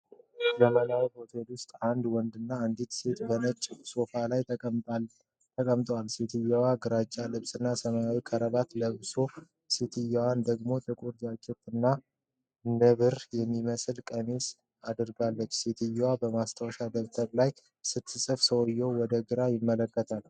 በዘመናዊ ሆቴል ውስጥ፣ አንድ ወንድና አንዲት ሴት በነጭ ሶፋዎች ላይ ተቀምጠዋል። ሰውዬው ግራጫ ልብስና ሰማያዊ ክራባት ለብሷል፤ ሴትየዋ ደግሞ ጥቁር ጃኬት እና ነብር የሚመስል ቀሚስ አድርጋለች። ሴትየዋ በማስታወሻ ደብተር ላይ ስትጽፍ ሰውዬው ወደ ግራ ይመለከታል።